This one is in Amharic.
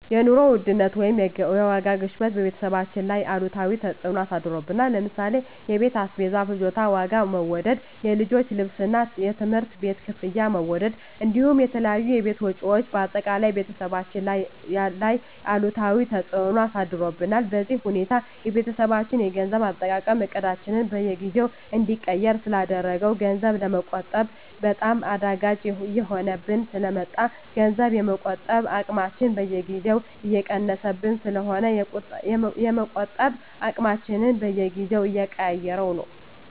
የኑሮ ውድነት ወይም የዋጋ ግሽበት በቤተሰባችን ላይ አሉታዊ ተፅዕኖ አሳድሮብናል ለምሳሌ የቤት አስቤዛ ፍጆታ ዋጋ መወደድ፣ የልጆች ልብስና የትምህርት ቤት ክፍያ መወደድ እንዲሁም የተለያዩ የቤት ወጪዎች በአጠቃላይ ቤተሰባችን ላይ አሉታዊ ተፅዕኖ አሳድሮብናል። በዚህ ሁኔታ የቤተሰባችን የገንዘብ አጠቃቀም እቅዳችንን በየጊዜው እንዲቀየር ስላደረገው ገንዘብ ለመቆጠብ በጣም አዳጋች እየሆነብን ስለ መጣ ገንዘብ የመቆጠብ አቅማችን በየጊዜው እየቀነሰብን ስለሆነ የመቆጠብ አቅማችንን በየጊዜው እየቀያየረው ነው።